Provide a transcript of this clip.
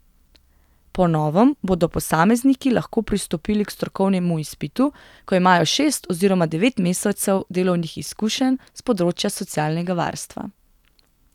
Po novem bodo posamezniki lahko pristopili k strokovnemu izpitu, ko imajo šest oziroma devet mesecev delovnih izkušenj s področja socialnega varstva.